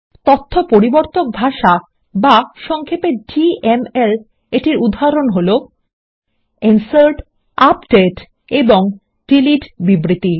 তথ্য পরিবর্তক ভাষা বা সংক্ষেপে ডিএমএল এর উদাহরণ হলো160 ইনসার্ট আপডেট এবং ডিলিট বিবৃতি